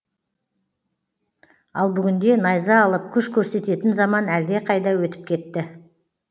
ал бүгінде найза алып күш көрсететін заман әлде қайда өтіп кетті